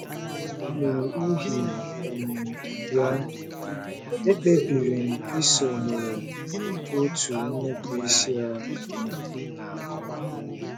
N’ụihi um ya, ekpebiri m isonyere òtù nnupụisi ahụ.